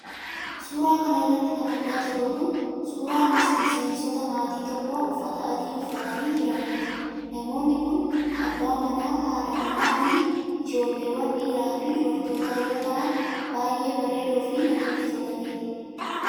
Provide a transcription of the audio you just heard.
Suura kana irratti kan argaa jirru kun ,suura miseensota maatii tokkoo uffata adii uffatanii jiraniiti. Namoonni kun: abbaa manaa, haadha manaa fi ijoolleewan dhiiraa fi dubartootaa yoo ta'an, baay'ee bareedoo fi namatti tolaniidha.